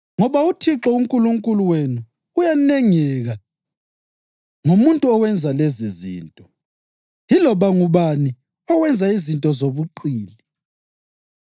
Ngoba uThixo uNkulunkulu wenu uyanengeka ngomuntu owenza lezizinto, yiloba ngubani owenza izinto zobuqili.